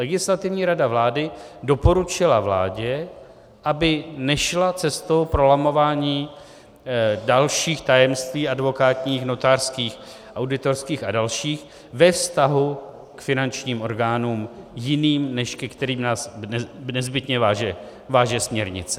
Legislativní rada vlády doporučila vládě, aby nešla cestou prolamování dalších tajemství advokátních, notářských, auditorských a dalších ve vztahu k finančním orgánům jiným, než ke kterým nás nezbytně váže směrnice.